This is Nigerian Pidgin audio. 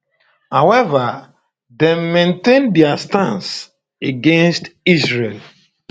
however dem maintain dia stance against israel